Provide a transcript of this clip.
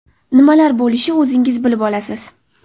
Nimalar bo‘lishi o‘zingiz bilib olasiz.